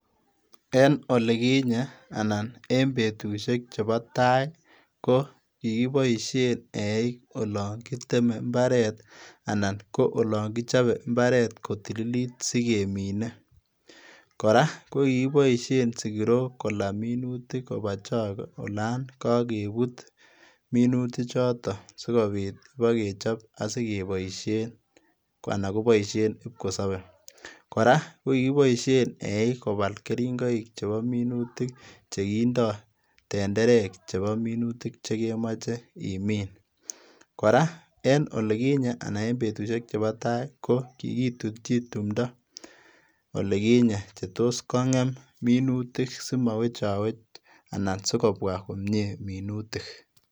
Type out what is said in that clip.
En olikinye anan en betusiek chebo taa kokikiboisien eik olon kiteme imbaret anan koyon kichobe imbaret kotililit sikemine, koraa kokikiboisien sikirok kolaa minutik olon kiibe kopaa chokoo olon kokebut minutichoton sikobit kipokechop osikeboisien anan koboisien kipkosobe, koraa kokikiboisien eik kobal keringoik chebo minutik chekindoo tenderek chebo minutik chekemoche imin, koraa en olikinye anan en betusiek cheboo taa kokikitutyin timdo olikinyee chetos kongem minutik simowechowech anan sikobwaa komie minutik.